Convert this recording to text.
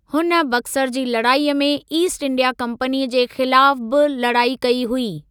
हुन बक्सर जी लड़ाईअ में ईस्ट इंडिया कंपनीअ जे ख़िलाफ़ बि लड़ाई कई हुई।